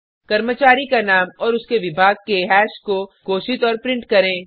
कर्मचारी का नाम और उसके विभाग के हैश को घोषित और प्रिंट करें